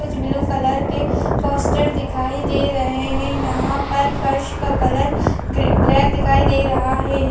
कुछ blue colour के poster दिखाई दे रहे हैं यहाँ पर फर्श का कलर ब्लाक दिखाए रहा है|